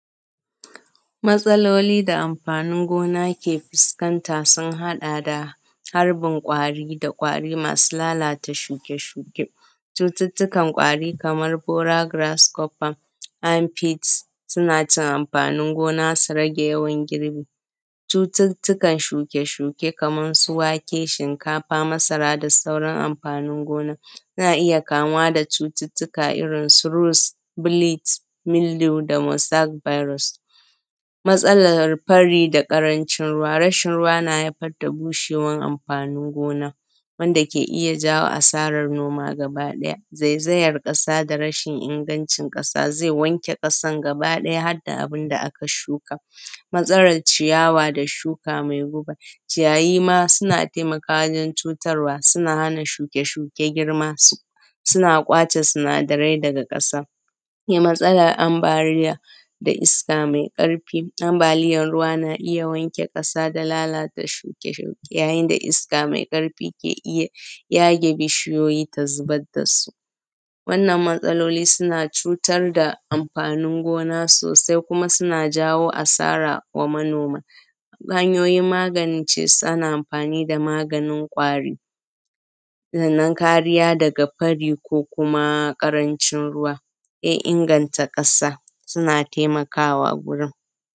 Matsaloli da amfani gona ke fuskanta sun haɗa da harbin ƙwari da ƙwari masu lalata shuke-shuke, cututtukan ƙwari kaman fora garas copas, amfit, suna cin amfanin gona su rage yawan girbi, cututtukan shuke-shuke kaman su wake, shinkafa, masara da sauran amfanin gona. Ana iya kamuwa da cututtuka irin su ruls, bils, miloda da mosa biros. Matsalar fari da ƙarancin ruwa, rashin ruwa na haifar da bushewar amfanin gona, wanda na ke iya jawo asarar noma gaba ɗaya. Zayzayar ƙasa da rashin ingancin ƙasa, zai wanke ƙasa gaba ɗaya har da abinda aka shuka. Matsalar ciyawa da shuka mai guba, ciyayyima suna taimakawa wajen cutarwa, suna hana shuke-shuke girma, suna ƙwace sinadarai daga ƙasa. Sai matsalar ambaliya da iska mai ƙarfi, ambaliyar ruwa na iya wanke ƙasa da lalata shuke-shuke, yayin da iska mai ƙarfi ke iya yage bishiyoyi da zubar da su. Wannan matsaloli suna cutar da amfanin gona sosai, kuma suna jawo asara wa manoma. Hanyoyin magance su, ana amfani da maganin ƙwari, sannan kariya daga fari ko kuma ƙarancin ruwa, sai inganta ƙasa suna taimakawa gurin.